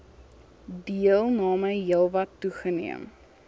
deelname heelwat toegeneem